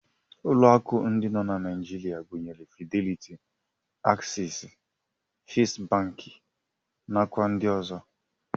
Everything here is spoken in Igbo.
Ụlọ akụ ndị nọ na Naijiria gụnyere Fideliti, Aksesị, Fest bankị, nakwa ndị ọzọ.